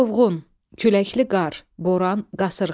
Çovğun, küləkli qar, boran, qasırğa.